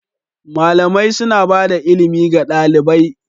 Malamai suna bada ilimi ga ɗalibai.